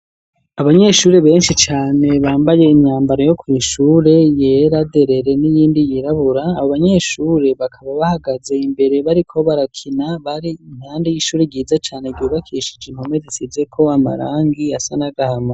Abanyeshure benshi cane bambaye imyambaro yo ku ishure yera derere n'iyindi yirabura abo banyeshure bakaba bahagaze imbere bariko barakina bari impande y'ishure ryiza cane ryubakishije impome zisize ko amarangi asa n'agahama.